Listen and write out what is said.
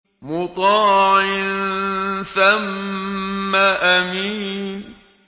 مُّطَاعٍ ثَمَّ أَمِينٍ